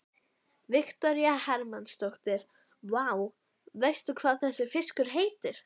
Viktoría Hermannsdóttir: Vá, veistu hvað þessi fiskur heitir?